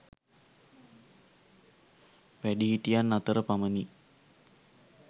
වැඩිහිටියන් අතර පමණි